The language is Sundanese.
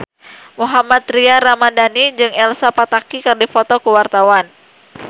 Mohammad Tria Ramadhani jeung Elsa Pataky keur dipoto ku wartawan